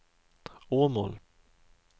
Åmål